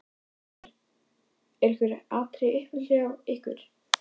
Þórhildur: Eru einhver atriði í uppáhaldi hjá ykkur?